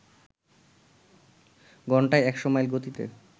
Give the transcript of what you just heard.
ঘণ্টায় একশ মাইল গতিতে